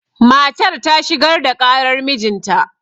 matar ta shigar da ƙarar mijinta